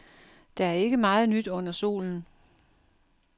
Der er ikke meget nyt under solen.